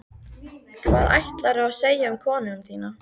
Hvað ætlaðirðu að segja um konuna þína?